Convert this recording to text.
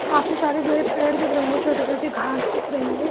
काफी सारे जो है पेड़ दिख रहे है छोटे-छोटे घास दिख रही है।